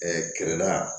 kɛlɛla